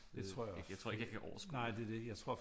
Det tror jeg også nej det er det jeg tror